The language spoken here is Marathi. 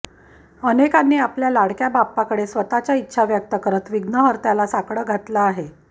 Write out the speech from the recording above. अनेकांनी आपल्या लाडक्या बाप्पाकडे स्वतःच्या इच्छा व्यक्त करत विघ्नहर्त्याला साकडं घातलं आहे